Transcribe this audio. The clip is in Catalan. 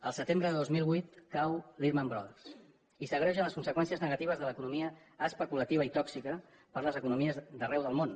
el setembre de dos mil vuit cau lehman brothers i s’agreugen les conseqüències negatives de l’economia especulativa i tòxica per a les economies d’arreu del món